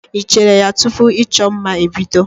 Ị cheere ya tupu ịchọ mma ebido?